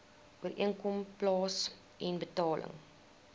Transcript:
ooreenkoms plaasen betaling